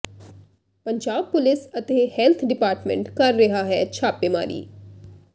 Punjab police ਅਤੇ health department ਕਰ ਰਿਹਾ ਹੈ ਛਾਪੇਮਾਰੀ